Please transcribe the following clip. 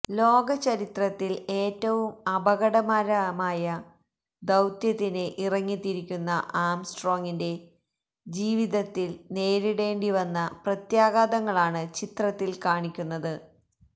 ലോകചരിത്രത്തില് ഏറ്റവും അപകടകരമായ ദൌത്യത്തിന് ഇറങ്ങിത്തിരിക്കുന്ന ആംസ്ട്രോങിന്റെ ജീവിതത്തില് നേരിടേണ്ട വന്ന പ്രത്യാഘാതങ്ങളാണ് ചിത്രത്തില് കാണിക്കുന്നത്